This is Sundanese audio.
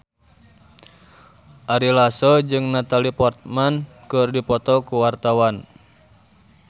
Ari Lasso jeung Natalie Portman keur dipoto ku wartawan